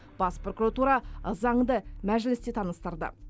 бас прокуратура заңды мәжілісте таныстырды